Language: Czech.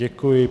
Děkuji.